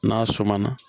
N'a suma na